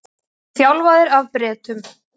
Voru þjálfaðir af Bretum